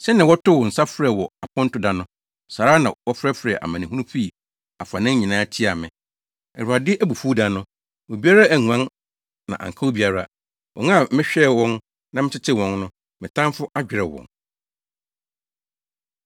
“Sɛnea wotoo wo nsa frɛ wɔ aponto da no, saa ara na wofrɛfrɛɛ amanehunu fii afanan nyinaa tiaa me. Awurade abufuw da no, obiara anguan na anka obiara: wɔn a mehwɛɛ wɔn na metetew wɔn no, me tamfo adwerɛw wɔn.”